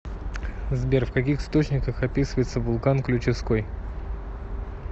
сбер в каких источниках описывается вулкан ключевской